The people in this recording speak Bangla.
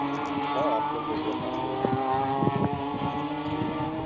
হ্যা আপনার যোগ্যতা আছে আপনি চাকরি পাচ্ছেন না